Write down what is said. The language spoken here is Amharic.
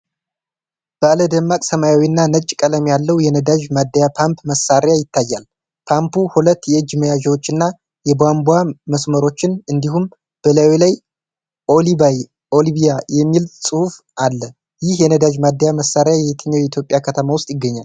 ባለ ደማቅ ሰማያዊና ነጭ ቀለም ያለው የነዳጅ ማደያ ፓምፕ መሳሪያ ይታያል። ፓምፑ ሁለት የእጅ መያዣዎችንና የቧንቧ መስመሮችን እንዲሁም በላዩ ላይ 'OilLibya' የሚል ጽሑፍ አለው። ይህ የነዳጅ ማደያ መሳሪያ የትኛው የኢትዮጵያ ከተማ ውስጥ ይገኛል?